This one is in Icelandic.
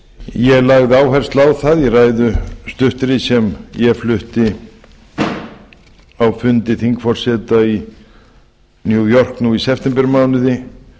ég lagði áherslu á það í ræðu stuttri sem ég flutti á fundi þingforseta í new york nú í septembermánuði